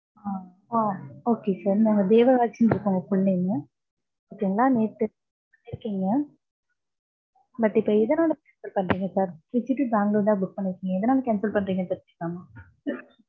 ஆஹ் ஆஹ் okay sir நாங்க தேவராஜ்ன்னு இருக்கு உங்க full name உ. okay ங்களா. நேத்து book பண்ணி இருக்கீங்க. but இப்ப எதனால cancel பண்றீங்க sir. திருச்சி to பேங்களூர் தான் book பண்ணிருக்கீங்க. எதனால cancel பண்றீங்கன்னு தெரிஞ்சுக்கலாமா?